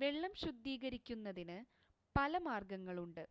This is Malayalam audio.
വെള്ളം ശുദ്ധീകരിക്കുന്നതിന് പല മാർഗങ്ങളുണ്ട്